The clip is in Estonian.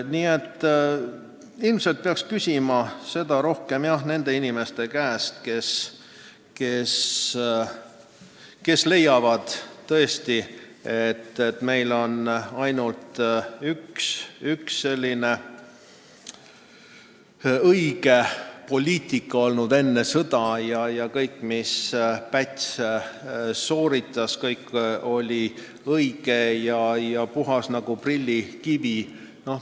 Nii et ilmselt peaksite oma küsimuse esitama inimestele, kes leiavad, et meil aeti enne sõda väga õiget poliitikat ja kõik, mis Päts tegi, oli õige ja puhas nagu prillikivi.